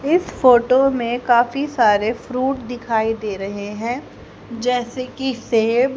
इस फोटो में काफी सारे फ्रुट दिखाई दे रहे है जैसे कि सेब--